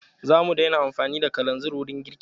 Za mu daina amfani da kalazir wurin girki.